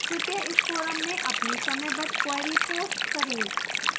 कृपया इस forum में अपनी समयबद्ध queries post करें